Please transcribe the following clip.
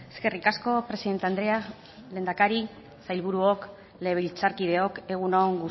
eskerrik asko presidente andrea lehendakari sailburuok legebiltzarkideok egun on